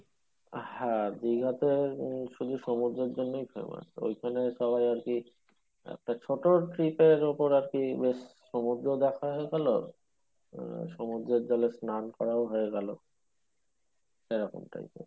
হ্যাঁ, দীঘাতে শুধু সমুদ্রর জন্যই famous ওইখানে সবাই আর কি একটা ছোট trip এর মতোন আর কি বেশ সমুদ্র দেখা হয়ে গেলো উম সমুদ্রর জলে স্রান করাও হয়ে গেলো